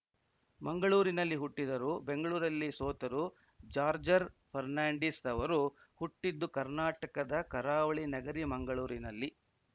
ಮಂಗಳೂರಿನಲ್ಲಿ ಹುಟ್ಟಿದರು ಬೆಂಗ್ಳುರಲ್ಲಿ ಸೋತರು ಜಾರ್ಜರ್ ಫೆರ್ನಾಂಡಿಸ್‌ ಅವರು ಹುಟ್ಟಿದ್ದು ಕರ್ನಾಟಕದ ಕರಾವಳಿ ನಗರಿ ಮಂಗಳೂರಿನಲ್ಲಿ